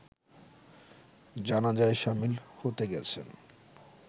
জানাজায় শামিল হতে গেছেন